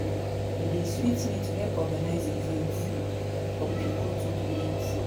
E dey sweet me to help organize events for people to donate.